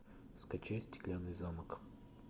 скачай стеклянный замок